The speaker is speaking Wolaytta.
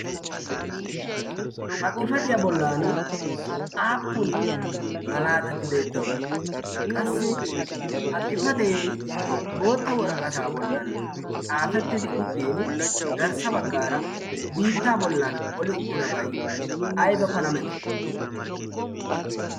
ha xifatiyaa bollan aappun malaatati beettiyoona qassi ha xifatee bootta woraqataa bollan xaafettidi uttin garssa baggaara biittaa bollan oli uttidabay ayba pala meto